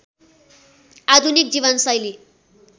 आधुनिक जीवनशैली